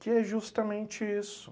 Que é justamente isso.